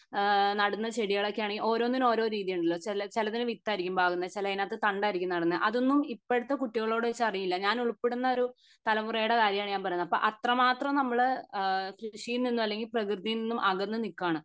ആഹ് നടുന്ന ചെടികളൊക്കെണെങ്കി ഓരോന്നിന്ന് ഓരോ രീതി ആണല്ലോ ചെലതിന് വിത്ത് ആയിരിക്കും പാകുന്നത് ചെലതിനകത്ത് തണ്ട് ആയിരിക്കും നടുന്നെ അതൊന്നും ഇപ്പോഴത്തെ കുട്ടികളോട് ചോദിച്ചാൽ അറിയില്ല ഞാൻ ഉൾപ്പെടുന്ന ഒരു തലമുറയുടെ കാര്യം ആണ് ഞാൻ പറയുന്നത് അപ്പൊ അത്രമാത്രം നമ്മൾ അഹ് കൃഷിയിൽ നിന്നും അല്ലെങ്കി പ്രകൃതിയിൽ നിന്നും അകന്ന് നിക്കാണ്